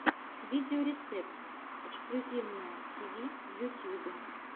видеорецепт эксклюзивное тиви в ютьюбе